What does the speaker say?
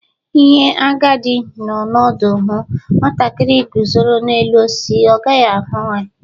Ihe agadi nnọ ódu hụu, nwatakiri guzọrọ n'elu osisi ọ gaghi ahụ ya.